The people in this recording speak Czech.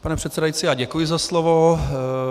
Pane předsedající, já děkuji za slovo.